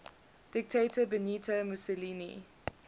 dictator benito mussolini